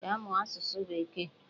Gaa mụọ asụsụ bekee!